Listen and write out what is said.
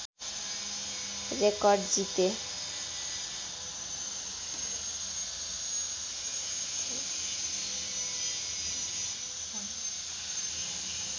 record जिते